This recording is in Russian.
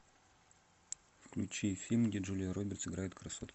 включи фильм где джулия робертс играет красотку